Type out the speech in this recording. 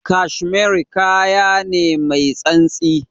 Cashmere kaya ne mai santsi.